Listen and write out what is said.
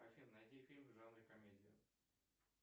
афина найди фильм в жанре комедия